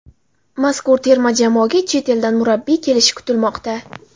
Mazkur terma jamoaga chet eldan murabbiy kelishi kutilmoqda .